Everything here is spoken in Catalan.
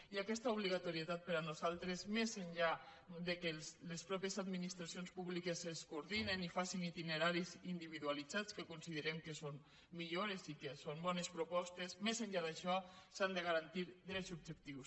i aquesta obligatorietat per a nosaltres més enllà que les mateixes administracions públiques es coordinen i facen itineraris individualitzats que considerem que són millores i són bones propostes més enllà d’això s’han de garantir drets subjectius